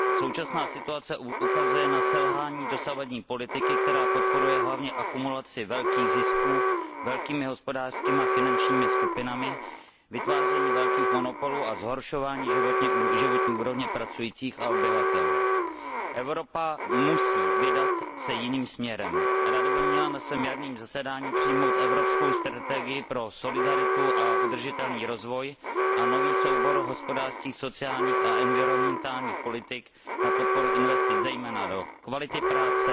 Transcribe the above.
Současná situace ukazuje na selhání dosavadní politiky, která podporuje hlavně akumulaci velkých zisků velkými hospodářskými a finančními skupinami, vytváření velkých monopolů a zhoršování životní úrovně pracujících a obyvatel. Evropa se musí vydat jiným směrem. Rada by měla na svém jarním zasedání přijmout evropskou strategii pro solidaritu a udržitelný rozvoj a nový soubor hospodářských, sociálních a environmentálních politik na podporu investic zejména do kvality práce,